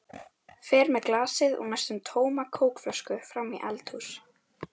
Fer með glasið og næstum tóma kókflöskuna fram í eldhús.